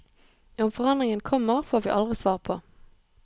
Om forandringen kommer, får vi aldri svar på.